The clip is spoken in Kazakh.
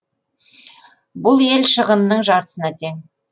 бұл ел шығынының жартысына тең